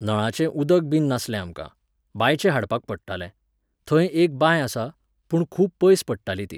नळाचें उदकबीन नासलें आमकां, बांयचें हाडपाक पडटालें, थंय एक बांय आसा, पूण खूब पयस पडटाली ती.